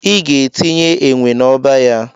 Ị ga-etinye enwe na-ọba ya.